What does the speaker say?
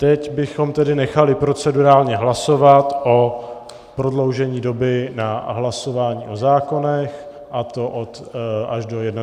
Teď bychom tedy nechali procedurálně hlasovat o prodloužení doby na hlasování o zákonech, a to až do 21. hodiny.